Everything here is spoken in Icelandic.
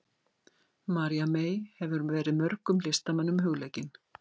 María mey hefur verið mörgum listamönnum hugleikin.